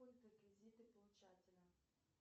реквизиты получателя